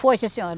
Foi, sim senhora.